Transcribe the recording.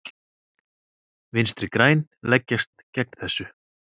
Vinstri græn leggjast gegn þessu.